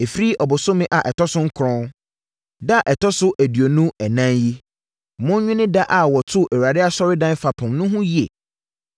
Ɛfiri ɔbosome a ɛtɔ so nkron, da a ɛtɔ so aduonu ɛnan yi, monnwene da a wɔtoo Awurade asɔredan fapem no ho yie.